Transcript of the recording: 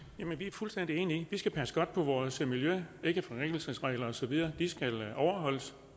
fuldstændig enige i at vi skal passe godt på vores miljø ikkeforringelsesregler og så videre skal overholdes